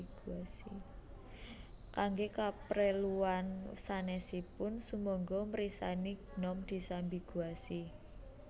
Kangge kapreluan sanèsipun sumangga mirsani Gnome disambiguasi